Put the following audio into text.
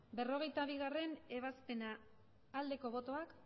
berrogeita bigarrena ebazpena aldeko botoak